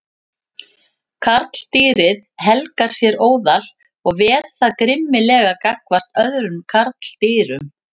Karldýrið helgar sér óðal og ver það grimmilega gagnvart öðrum karldýrum.